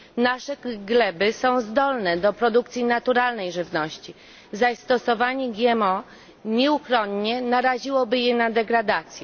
Nasze gleby są zdolne do produkcji naturalnej żywności, zaś stosowanie GMO nieuchronnie naraziłoby je na degradację.